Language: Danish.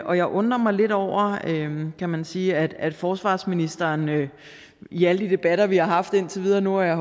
og jeg undrer mig lidt over kan man sige at at forsvarsministeren i alle de debatter vi har haft indtil videre og nu har jeg